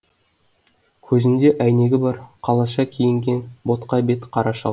көзінде әйнегі бар қалаша киінген ботқа бет қара шал